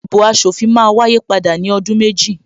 Ìdìbò aṣòfin máa wáyé padà ní ọdún méjì